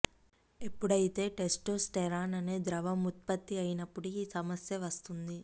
ఎప్పుడైతే టెస్టోస్టెరాన్ అనే ద్రవ్యం ఉత్పత్తి అయినప్పుడు ఈ సమస్య వస్తుంది